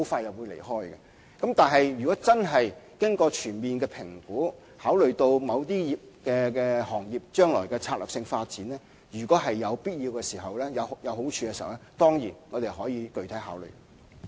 然而，在經過全面評估，並考慮到某些行業將來的策略性發展，如果有必要、有好處的話，我們當然會作具體考慮。